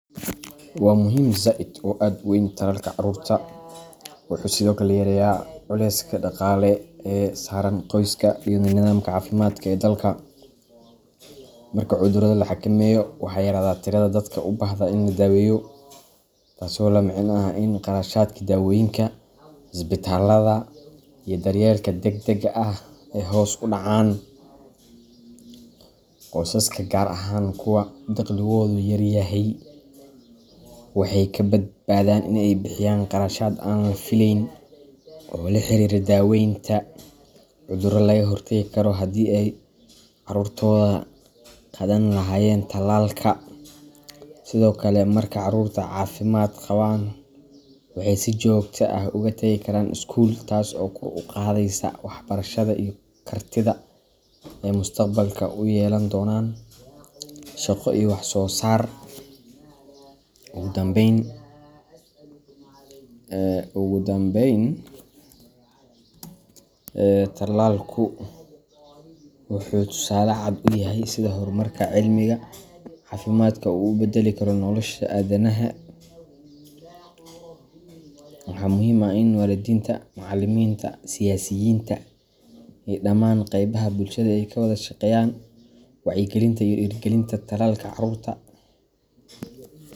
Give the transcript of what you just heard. Waa muhim zaid oo aad u weyn, tallaalka carruurta wuxuu sidoo kale yareeyaa culayska dhaqaale ee saaran qoysaska iyo nidaamka caafimaadka ee dalka. Marka cudurrada la xakameeyo, waxaa yaraada tirada dadka u baahda in la daweeyo, taasoo la micno ah in kharashaadkii daawooyinka, isbitaalada, iyo daryeelka degdegga ah ay hoos u dhacaan. Qoysaska, gaar ahaan kuwa dakhligoodu yar yahay, waxay ka badbaadaan in ay bixiyaan kharashaad aan la fileyn oo la xiriira daawaynta cudurro laga hortagi lahaa haddii ay carruurtooda qaadan lahaayeen tallaalka. Sidoo kale, marka caruurtu caafimaad qabaan, waxay si joogto ah u tagi karaan iskuul, taas oo kor u qaadaysa waxbarashada iyo kartida ay mustaqbalka u yeelan doonaan shaqo iyo wax soosaar. Ugu dambayn, tallaalku wuxuu tusaale cad u yahay sida horumarka cilmiga caafimaadku uu u beddeli karo nolosha aadanaha. Waxaa muhiim ah in waalidiinta, macallimiinta, siyaasiyiinta iyo dhammaan qaybaha bulshada ay ka wada shaqeeyaan wacyigelinta iyo dhiirrigelinta tallaalka carruurta.